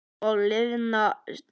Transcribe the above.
Og liðna tíð.